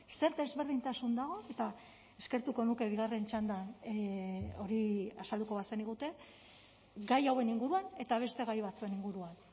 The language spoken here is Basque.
zer desberdintasun dago eta eskertuko nuke bigarren txandan hori azalduko bazenigute gai hauen inguruan eta beste gai batzuen inguruan